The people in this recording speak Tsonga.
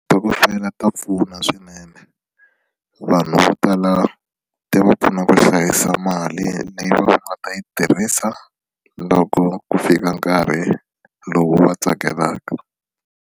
ta pfuna swinene vanhu vo tala ti va pfuna ku hlayisa mali leyi va nga ta yi tirhisa loko ku fika nkarhi lowu va tsakelaka.